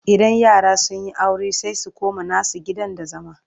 idan yara sunyi aure sai su koma nasu gidan da zama